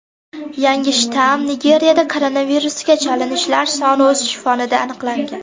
Yangi shtamm Nigeriyada koronavirusga chalinishlar soni o‘sishi fonida aniqlangan.